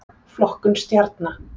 Flokkun stjarna.